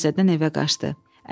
Binnət təzədən evə qaçdı.